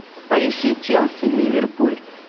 поищи челси ливерпуль